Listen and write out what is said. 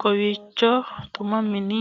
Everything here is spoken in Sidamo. kowiicho xuma mtini